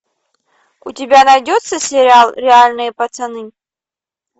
у тебя найдется сериал реальные пацаны